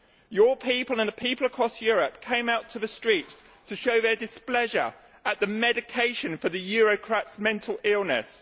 Your people and people across Europe came out onto the streets to show their displeasure at the medication for the Eurocrats' mental illness.